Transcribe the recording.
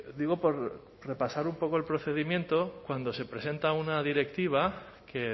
digo por repasar un poco el procedimiento cuando se presenta una directiva que